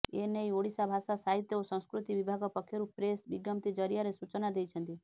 ଏନେଇ ଓଡ଼ିଶା ଭାଷା ସାହିତ୍ୟ ଓ ସଂସ୍କୃତି ବିଭାଗ ପକ୍ଷରୁ ପ୍ରେସ୍ ବିଜ୍ଞପ୍ତି ଜରିଆରେ ସୂଚନା ଦେଇଛନ୍ତି